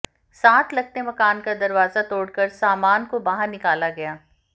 साथ लगते मकान का दरवाजा तोड़कर सामान को बाहर निकाला गया